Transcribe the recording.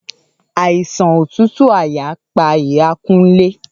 Àìsàn òtútù àyà pa iya Kunle.